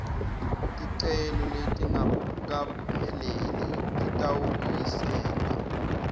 ticelo letingakapheleli titawubuyiselwa